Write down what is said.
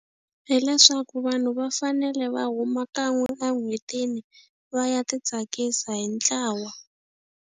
Hileswaku vanhu va fanele va huma kan'we en'hwetini va ya ti tsakisa hi ntlawa.